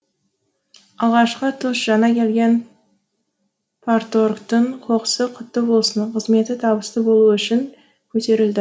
алғашқы тост жаңа келген парторгтың қоқысы құтты болып қызметі табысты болуы үшін көтерілді